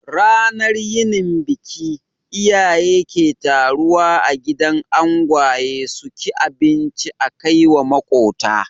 Ranar yinin biki, iyaye ke taruwa a gidan angwaye suki abinci akaiwa makota